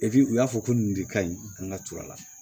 u y'a fɔ ko nin de ka ɲi an ka ture la